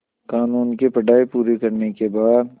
क़ानून की पढा़ई पूरी करने के बाद